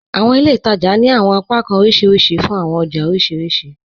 Àwọn ilẹ̀ ìtaja ni àwọn apakàn oríṣiríṣì fún àwọn ọjà oríṣiríṣì